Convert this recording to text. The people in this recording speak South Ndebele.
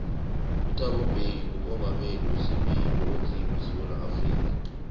uthabo mbeki ngumongameli wesibili onzima esewula afrika